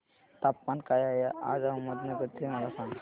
तापमान काय आहे आज अहमदनगर चे मला सांगा